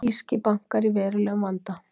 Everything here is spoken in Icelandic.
Írskir bankar í verulegum vanda